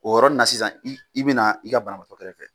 O yɔrɔ na sisan i bɛna i ka banabaatɔ kɛrɛ fɛ.